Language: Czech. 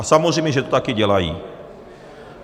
A samozřejmě že to také dělají.